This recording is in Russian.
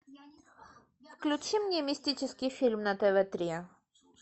включи мне мистический фильм на тв три